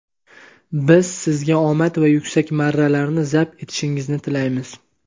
Biz sizga omad va yuksak marralarni zabt etishingizni tilaymiz.